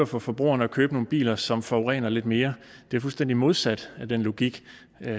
for forbrugerne at købe nogle biler som forurener lidt mere er fuldstændig modsat den logik